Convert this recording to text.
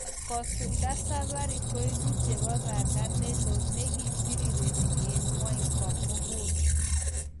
kotko sulda sapari , koegu chepo pa-anda nelo negi tirireni en ngwenykomugul